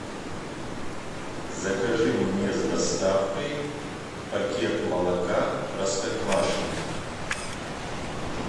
закажи мне с доставкой пакет молока простоквашино